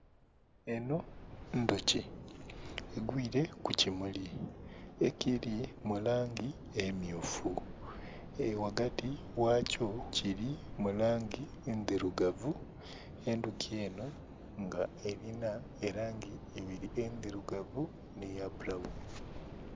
Enho ndhuki egwire ku kimuli ekili mulangi emyufu ghagati gha kyo kili mu langi ndhirugavu, endhuki enho nga erina langi ibiri, endhirugavu nhe ya bulawuni.